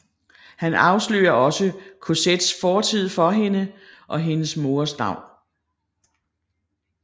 Han afslører også Cosettes fortid for hende og hendes moders navn